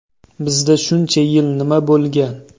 Bizda shuncha yil nima bo‘lgan?